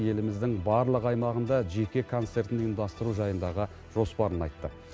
еліміздің барлық аймағында жеке концертін ұйымдастыру жайындағы жоспарын айтты